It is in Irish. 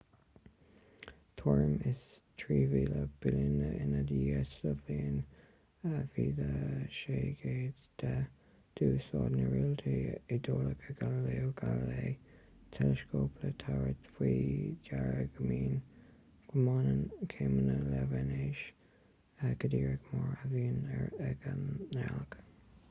tuairim is trí mhíle bliain ina dhiaidh sa bhliain 1610 d'úsáid an réalteolaí iodálach galileo galilei teileascóp le tabhairt faoi deara go mbaineann céimeanna le véineas go díreach mar a bhíonn ag an ngealach